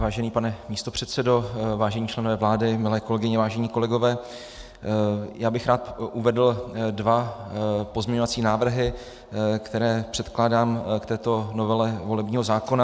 Vážený pane místopředsedo, vážení členové vlády, milé kolegyně, vážení kolegové, já bych rád uvedl dva pozměňovací návrhy, které předkládám k této novele volebního zákona.